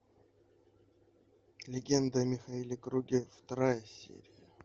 легенды о михаиле круге вторая серия